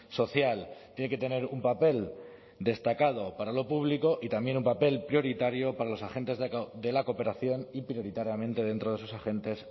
social tiene que tener un papel destacado para lo público y también un papel prioritario para los agentes de la cooperación y prioritariamente dentro de esos agentes